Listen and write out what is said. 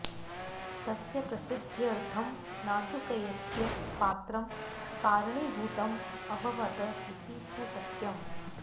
तस्य प्रसिद्ध्यर्थं नाजूकय्यस्य पात्रं कारणीभूतम् अभवत् इति तु सत्यम्